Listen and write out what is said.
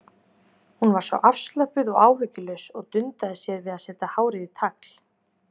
Hún var svo afslöppuð og áhyggjulaus og dundaði sér við að setja hárið í tagl.